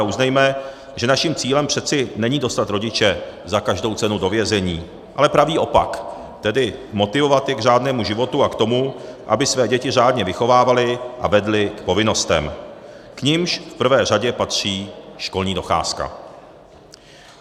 A uznejme, že naším cílem přece není dostat rodiče za každou cenu do vězení, ale pravý opak, tedy motivovat je k řádnému životu a k tomu, aby své děti řádně vychovávali a vedli k povinnostem, k nimž v prvé řadě patří školní docházka.